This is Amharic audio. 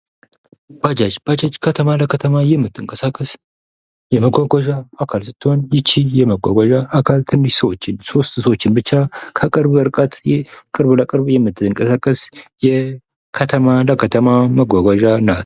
ባጃጅ:- ባጃጅ ከተማ ለከተማ የምትንቀሳቀስ የመጓጓዣ አካል ስትሆን ይቺ የመጓጓዣ አኬል ትንሽ ሰዎችን ሦስት ሰዎችን ብቻ ከቅርብ ርቀት ቅርብ ለቅርብ የምትንቀሳቀስ የከተማ ለከተማ መጓጓዣ ናት።